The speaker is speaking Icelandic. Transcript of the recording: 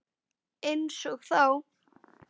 Einsog þá.